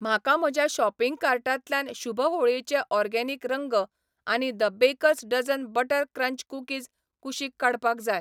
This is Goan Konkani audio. म्हाका म्हज्या शॉपिंग कार्टांतल्यान शुभ होळयेचे ओर्गेनिक रंग आनी the bakers dozen butter crunch cookies कुशीक काडपाक जाय.